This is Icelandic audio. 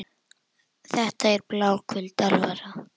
Þetta er bláköld alvara.